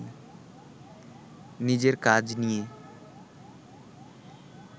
নিজের কাজ নিয়ে